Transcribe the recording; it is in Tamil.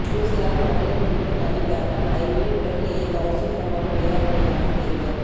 நியூசிலாந்து மகளிர் கிரிக்கெட் அணி கேப்டன் அய்மி உலகிலேயே கவர்ச்சிகரமான வீராங்கனையாக தேர்வு